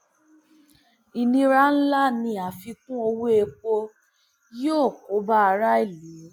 ìnira ńlá ní àfikún owóèpò yóò kó bá aráàlú